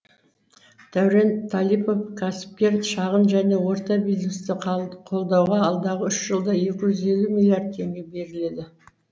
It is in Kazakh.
дәурен талипов кәсіпкер шағын және орта бизнесті қолдауға алдағы үш жылда екі жүз елу миллиард теңге беріледі